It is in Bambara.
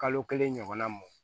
Kalo kelen ɲɔgɔnna bɔ